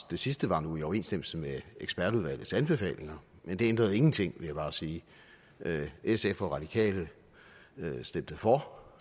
det sidste var nu i overensstemmelse med ekspertudvalgets anbefalinger men det ændrede ingenting vil jeg bare sige sf og radikale stemte for